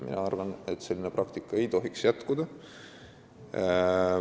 Mina arvan, et selline praktika ei tohiks jätkuda.